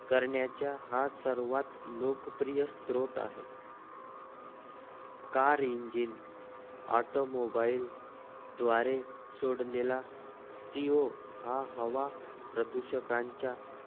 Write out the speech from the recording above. करण्याचा हा सर्वात लोकप्रिय स्रोत आहे car engine automobile सोड लेला CO हा हवा प्रदूषकांच्या